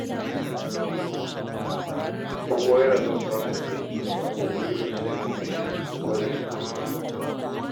Kowa yana son samun aiki a ma'aikatu irin su NNPC da Fadar Shugaban ƙasa.